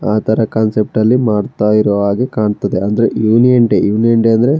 ಆ ತರ ಕಾನ್ಸೆಪ್ಟ್ ಅಳ್ಳಿಮಾಡ್ತ ಇರೋ ಹಾಗೆ ಕಾಣ್ತಿದ್ದಾರೆ ಅಂದ್ರೆ ಯೂನಿಯನ್ ಡೇ ಯೂನಿಯನ್ ಡೇ ಅಂದ್ರೆ--